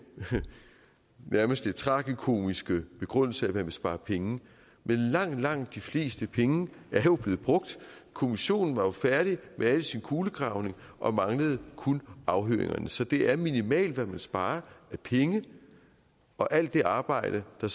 nærmest tragikomiske begrundelse at man vil spare penge men langt langt de fleste penge er jo blevet brugt kommissionen var jo færdig med al sin kulegravning og manglede kun afhøringerne så det er minimalt hvad man sparer af penge og alt det arbejde der